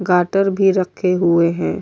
گاتر بھی رکھے ہوئے ہے۔